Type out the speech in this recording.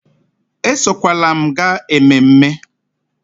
Esokwala m gaa ememme